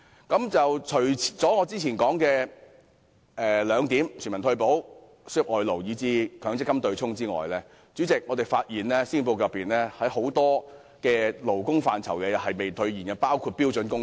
主席，除了我之前提及的全民退休保障、輸入外勞及取消強積金對沖機制外，施政報告在多個勞工範疇上亦未能兌現承諾，包括標準工時。